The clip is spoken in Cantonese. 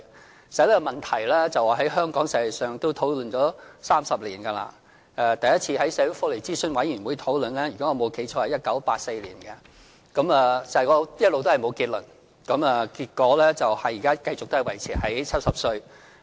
其實這問題在香港已經討論了30多年，第一次在社會福利諮詢委員會討論的時候，如果我沒記錯，應該是1984年，但一直都沒有結論，結果現在仍維持在70歲。